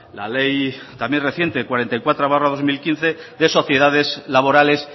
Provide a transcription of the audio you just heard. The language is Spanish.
la ley también reciente cuarenta y cuatro barra dos mil quince de sociedades laborales